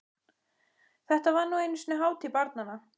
Þetta var nú einu sinni hátíð barnanna!